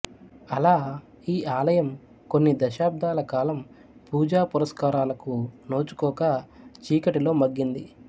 అలా ఈ ఆలయం కొన్ని దశాబ్దాల కాలం పూజ పునస్కారలకు నోచుకోక చీకటిలో మగ్గింది